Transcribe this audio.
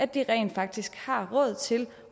de rent faktisk har råd til